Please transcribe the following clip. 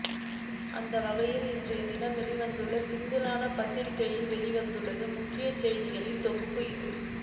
அந்தவகையில் இன்றையதினம் வெளிவந்துள்ள சிங்கள பத்திரிகைகளில் வெளிவந்துள்ள முக்கிய செய்திகளின் தொகுப்பு இது